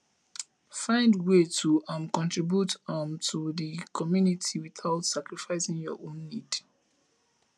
find way to um contribute um to di community without sacrificing your own nned